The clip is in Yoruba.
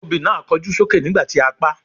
Obì náà kọjú sókè nígbà tí a paá.